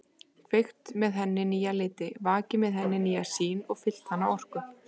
Kveikt með henni nýja liti, vakið með henni nýja sýn og fyllt hana orku.